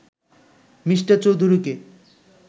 Me. চৌধুরীকে